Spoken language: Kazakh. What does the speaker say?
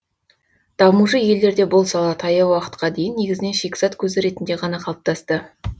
дамушы елдерде бұл сала таяу уақытқа дейін негізінен шикізат көзі ретінде ғана қалыптасты